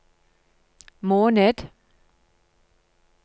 måned